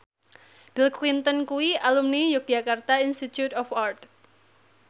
Bill Clinton kuwi alumni Yogyakarta Institute of Art